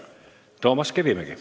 Toomas Kivimägi.